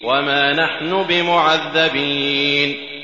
وَمَا نَحْنُ بِمُعَذَّبِينَ